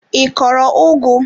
I kọrọ ugu?